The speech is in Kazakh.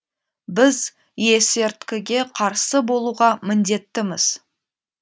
біз есерткіге қарсы болуға міндеттіміз